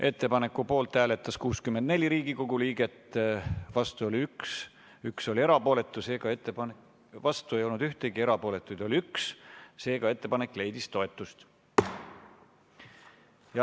Ettepaneku poolt hääletas 64 Riigikogu liiget, vastu ei olnud ühtegi, erapooletuid oli üks, seega ettepanek leidis toetust.